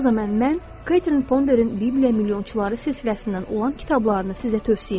o zaman mən Katrin Fonderin Divliyə milyonçuları silsiləsindən olan kitablarını sizə tövsiyə edirəm.